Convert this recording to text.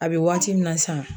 A bɛ waati min na sisan.